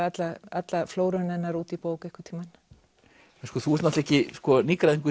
alla flóruna hennar út í bók einhvern tímann þú ert náttúrulega ekki nýgræðingur